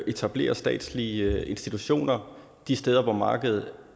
etablerer statslige institutioner de steder hvor markedet